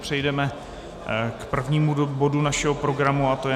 Přejdeme k prvnímu bodu našeho programu a tím je